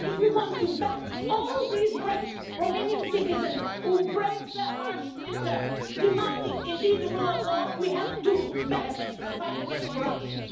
And if you want to back all these Romanian citizens who braved the harsh winter demanding, indeed, the rule of law, then we have to back them in the fight against corruption.